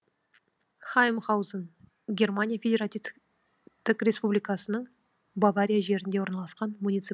хаймхаузен германия федеративтік республикасының бавария жерінде орналасқан муниципалитет